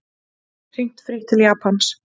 Hringt frítt til Japans